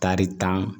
Tari tan